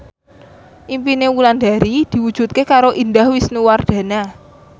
impine Wulandari diwujudke karo Indah Wisnuwardana